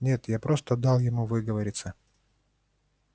нет я просто дал ему выговориться